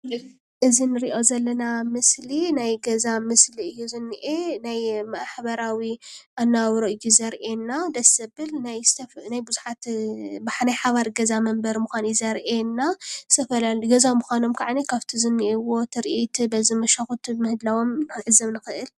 እዚ ንሪኦ ዘለና ምስሊ ናይ ገዛ ምስሊ እዩ ዝኒአ ናይ ማሕበራዊ ኣነባብራ እዩ ዘርእየና ደስ ዘብል ናይ ዝተፈላለዩ ናይ ብዙሓት ናይ ሓባር ገዛ መንበሪ ምዃኑ እዩ ዘርእየና ዝተፈላለዩ ገዛ ምዃኖም ከዓኒ ካብቲ ዝኒአዎ ትርኢት በዚ መሿኽቲ ምህላዎም ክንዕዘብ ንኽእል።